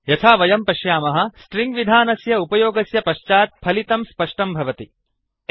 यथा वयं पश्यामः स्ट्रिङ्ग् विधानस्य उपयोगस्य पश्चात् फलितं स्पष्टं भवति